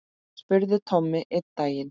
spurði Tommi einn daginn.